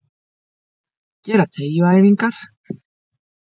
Gera teygjuæfingar.